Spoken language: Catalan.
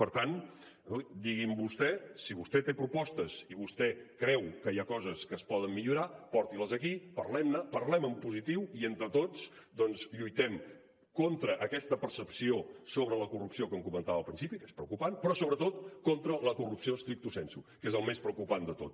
per tant digui’m vostè si vostè té propostes i vostès creu que hi ha coses que es poden millorar porti les aquí parlem ne parlem en positiu i entre tots lluitem contra aquesta percepció sobre la corrupció que em comentava al principi que és preocupant però sobretot contra la corrupció stricto sensu que és el més preocupant de tot